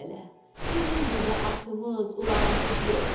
Ayı lələ, bizim burda atımız, ulağımız yox.